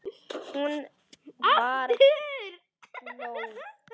Hún var glöð.